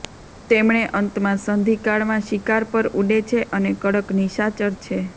તેમણે અંતમાં સંધિકાળ માં શિકાર પર ઉડે છે અને કડક નિશાચર છે